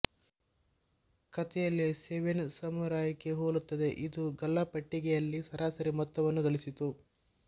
ಕಥೆಯಲ್ಲಿ ಸೆವೆನ್ ಸಮುರಾಯ್ಗೆ ಹೋಲುತ್ತದೆ ಇದು ಗಲ್ಲಾ ಪೆಟ್ಟಿಗೆಯಲ್ಲಿ ಸರಾಸರಿ ಮೊತ್ತವನ್ನು ಗಳಿಸಿತು